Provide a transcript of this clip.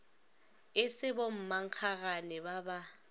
e se bommankgagane ba ba